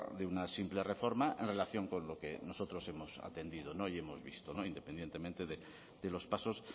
de una simple reforma en relación con lo que nosotros hemos atendido y hemos visto no independientemente de los pasos